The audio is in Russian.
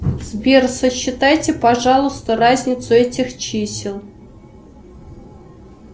сбер сосчитайте пожалуйста разницу этих чисел